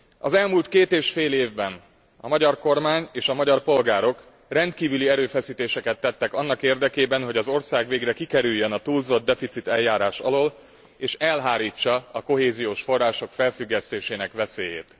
Az elmúlt két és fél évben a magyar kormány és a magyar polgárok rendkívüli erőfeszítéseket tettek annak érdekében, hogy az ország végre kikerüljön a túlzottdeficit eljárás alól és elhárítsa a kohéziós források felfüggesztésének veszélyét.